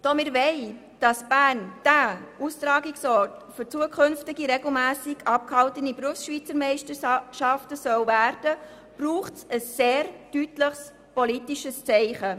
Da wir wollen, dass Bern Austragungsort für zukünftige regelmässig abgehaltene Berufsschweizermeisterschaften werden soll, braucht es ein sehr deutliches politisches Zeichen.